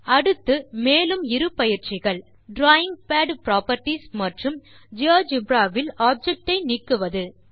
அடுத்து மேலும் இரு பயிற்சிகள் டிராவிங் பாட் புராப்பர்ட்டீஸ் மற்றும் ஜியோஜெப்ரா வில் ஆப்ஜெக்ட் ஐ நீக்குவது